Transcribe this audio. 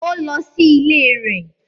Ó lọ sí ilé rẹ̀